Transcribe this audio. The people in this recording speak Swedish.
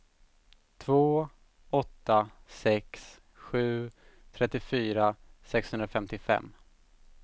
två åtta sex sju trettiofyra sexhundrafemtiofem